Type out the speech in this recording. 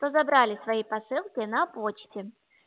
что разобрали свои посылки на почте